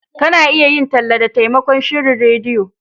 Ka na iya yin talla da taimakon shirin rediyo